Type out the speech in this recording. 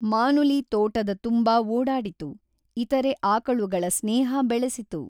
ಮಾನುಲಿ ತೋಟದ ತುಂಬಾ ಓಡಾಡಿತು, ಇತರೆ ಆಕಳುಗಳ ಸ್ನೇಹ ಬೆಳೆಸಿತು.